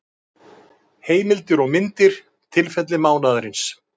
Heimildir og myndir: Tilfelli mánaðarins.